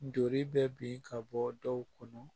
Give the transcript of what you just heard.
Joli bɛ bin ka bɔ dɔw kɔnɔ